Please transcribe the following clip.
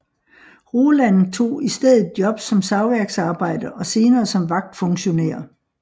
Roland tog i stedet job som savværksarbejder og senere som vagtfunktionær